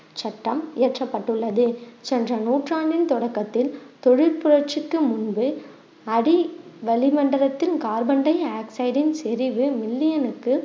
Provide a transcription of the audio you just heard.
சட்டம் இயற்றப்பட்டுள்ளது சென்ற நூற்றாண்டின் தொடக்கத்தில் தொழில் புரட்சிக்கு முன்பு அடி வளிமண்டலத்தின் கார்பன் டையாக்சைடின் சரிவு million னுக்கு